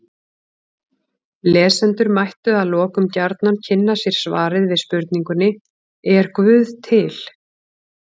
Lesendur mættu að lokum gjarnan kynna sér svarið við spurningunni Er guð til?